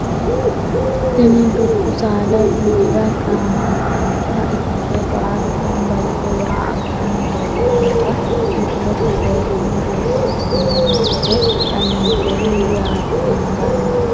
Tini dubbu saada widira gaamantanota ikite baalu ganba yite waa aggani leeltanota misilete seekine buuxo asinoomo gede xawinseemo yaate hendani.